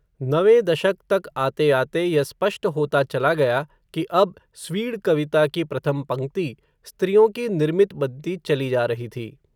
नवें दशक तक आते आते, यह स्पष्ट होता चला गया, कि अब, स्वीड कविता की प्रथम पंक्ति, स्त्रियों की निर्मित बनती चली जा रही थी